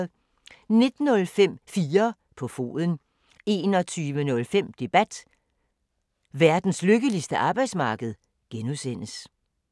19:05: 4 på foden 21:05: Debat: Verdens lykkeligste arbejdsmarked (G)